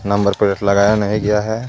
Number plate लगाया नहीं गया है.